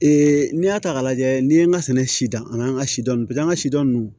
n'i y'a ta k'a lajɛ n'i ye n ka sɛnɛ sida an ka sidɔn pase an ka sidɔn ninnu